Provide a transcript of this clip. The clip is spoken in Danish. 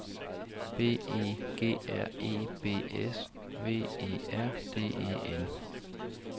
B E G R E B S V E R D E N